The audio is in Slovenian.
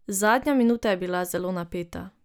Zadnja minuta je bila zelo napeta.